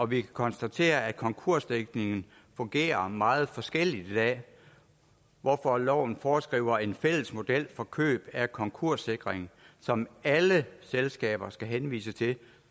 vi kan konstatere at konkursdækningen fungerer meget forskelligt i dag hvorfor loven foreskriver en fælles model for køb af konkurssikring som alle selskaber skal henvise til